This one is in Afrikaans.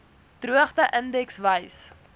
droogte indeks wys